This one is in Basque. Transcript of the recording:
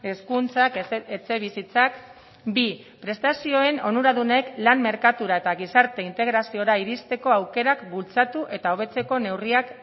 hezkuntzak etxebizitzak bi prestazioen onuradunek lan merkatura eta gizarte integraziora iristeko aukerak bultzatu eta hobetzeko neurriak